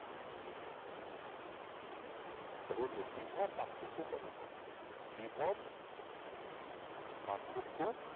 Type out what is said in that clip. রোধের বিভব পার্থক্য কত বিভব পার্থক্য